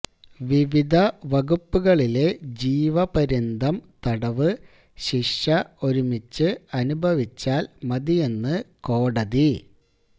വിവിധ വകുപ്പുകളിലെ ജീവപര്യന്തം തടവ് ശിക്ഷ ഒരുമിച്ച് അനുഭവിച്ചാല് മതിയെന്ന് കോടതി